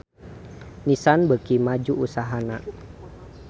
Nissan beuki maju usahana